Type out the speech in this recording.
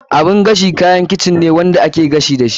Oven kayan kicin ne wanda ake gashi dashi.